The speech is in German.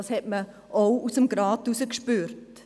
Das spürte man auch seitens des Rats.